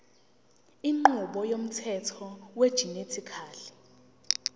inqubo yomthetho wegenetically